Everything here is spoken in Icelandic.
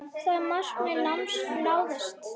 Það markmið náðist.